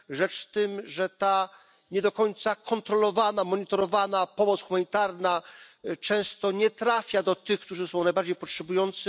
Rzecz tym, że ta nie do końca kontrolowana, monitorowana pomoc humanitarna często nie trafia do tych, którzy są najbardziej potrzebujący.